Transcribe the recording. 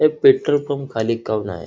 हे petrol pump खाली --